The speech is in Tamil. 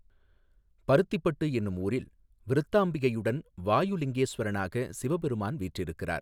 பருத்திப்பட்டு எனும் ஊாில் விருத்தாம்பிகையுடன் வாயு லிங்கேஸ்வரனாக சிவபெருமான் வீற்றிருக்கிறாா்.